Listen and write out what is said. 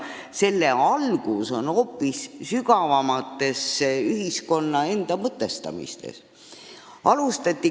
Selle puudujäägi põhjus peitub hoopis sügavamal – ühiskonna enda mõtestamises.